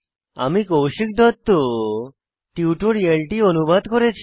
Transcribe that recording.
আমি কৌশিক দত্ত টিউটোরিয়ালটি অনুবাদ করেছি